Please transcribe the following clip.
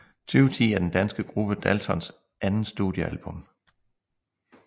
Tyve ti er den danske gruppe Daltons andet studiealbum